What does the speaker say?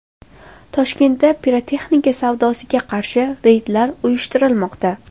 Toshkentda pirotexnika savdosiga qarshi reydlar uyushtirilmoqda.